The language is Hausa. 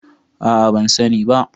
A'a ban sani ba.